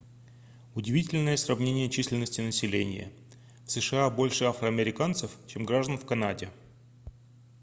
удивительное сравнение численности населения в сша больше афроамериканцев чем граждан в канаде